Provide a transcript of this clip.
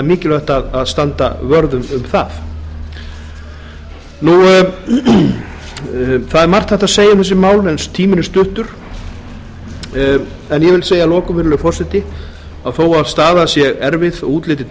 er mikilvægt að standa vörð um það það er margt hægt að segja um þessi mál en tíminn er stuttur en ég vil segja að lokum virðulegi forseti að þó að staðan sé erfið og útlitið